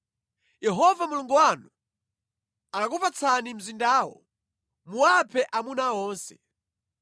Yehova Mulungu wanu akakupatsani mzindawo, muwaphe amuna onse.